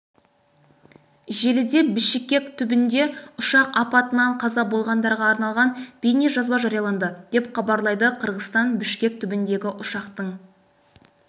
желіде бішекек түбінде ұшақ апатынан қаза болғандарға арналған бейнежазба жарияланды деп хабарлайды кыргызстан бішкек түбіндегі ұшақтың